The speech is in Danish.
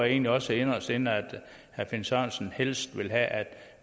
egentlig også inderst inde at herre finn sørensen helst vil have at